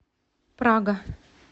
прага